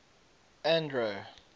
andro